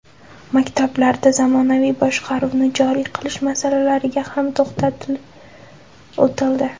Maktablarda zamonaviy boshqaruvni joriy qilish masalalariga ham to‘xtalib o‘tildi.